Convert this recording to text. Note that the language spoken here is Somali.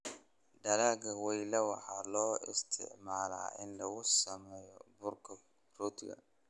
Dalagga weyla waxaa loo isticmaalaa in lagu sameeyo burka rootiga.